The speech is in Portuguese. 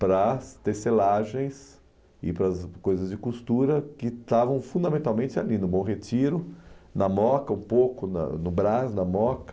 para as tecelagens e para as coisas de costura que estavam fundamentalmente ali, no Bom Retiro, na Moca, um pouco no Brás, na Moca.